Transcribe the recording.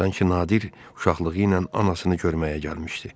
Sanki Nadir uşaqlığı ilə anasını görməyə gəlmişdi.